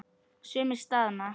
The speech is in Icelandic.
Sumir staðna.